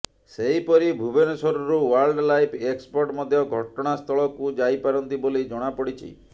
ସେହିପରି ଭୁବନେଶ୍ବରରୁ wildlife expert ମଧ୍ୟ ଘଟଣାସ୍ଥଳକୁ ଯାଇପାରନ୍ତି ବୋଲି ଜଣାପଡ଼ିଛି